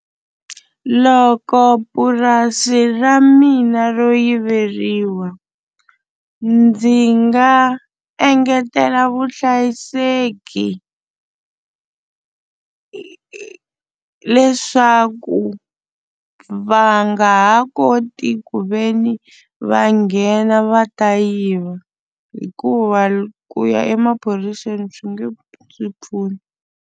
Loko purasi ra mina ro yiveriwa ndzi nga engetela vuhlayiseki leswaku va nga ha koti ku ve ni va nghena va ta yiva hikuva ku ya emaphoriseni swi nge pfuni.